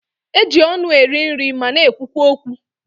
E ji ọnụ eri nri ma na-ekwukwa okwu.